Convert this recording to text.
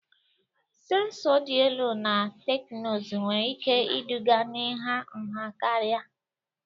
Sensọ dị elu na teknụzụ nwere ike iduga n'ịha nha karịa.